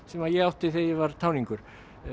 sem ég átti þegar ég var táningur